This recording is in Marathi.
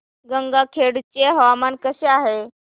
गंगाखेड चे हवामान कसे आहे